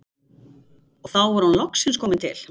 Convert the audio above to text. Og þá var hún loksins komin til